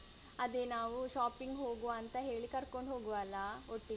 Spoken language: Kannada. ಅದೆ ನಾವು shopping ಹೋಗುವ ಅಂತ ಹೇಳಿ ಕರ್ಕೊಂಡ್ ಹೋಗುವ ಅಲಾ ಒಟ್ಟಿಗೆ.